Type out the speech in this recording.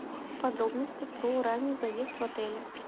подробности про ранний заезд в отеле